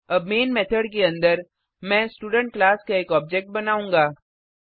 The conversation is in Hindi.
अब मेन मेथड के अंदर मैं स्टूडेंट क्लास का एक ऑब्जेक्ट बनाऊँगा